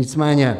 Nicméně